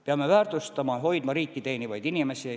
Peame väärtustama ja hoidma riiki teenivaid inimesi.